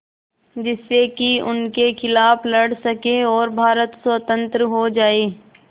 जिससे कि उनके खिलाफ़ लड़ सकें और भारत स्वतंत्र हो जाये